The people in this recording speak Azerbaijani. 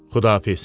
Xudahafiz.